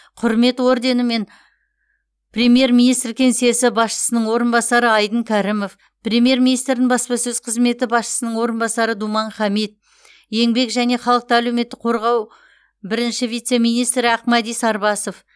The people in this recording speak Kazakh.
құрмет орденімен премьер министр кеңсесі басшысының орынбасары айдын кәрімов премьер министрдің баспасөз қызметі басшысының орынбасары думан хамит еңбек және халықты әлеуметтік қорғау бірінші вице министрі ақмәди сарбасов